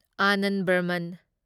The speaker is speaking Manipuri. ꯑꯅꯟꯗ ꯕꯔꯃꯟ